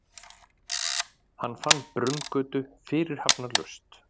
Hann fann Brunngötu fyrirhafnarlaust.